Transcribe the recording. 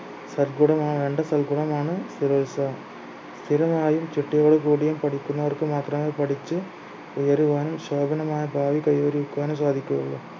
സർകുടമാവുന്ന സൽഗുണമാണ് സ്ഥിരോത്സാഹം സ്ഥിരമായും ചിട്ടയോട് കൂടിയും പഠിക്കുന്നവർക്ക് മാത്രമേ പഠിച്ച് ഉയരുവാനും ശോഭനമായ ഭാവി കൈവരിക്കുവാനും സാധിക്കുകയുള്ളൂ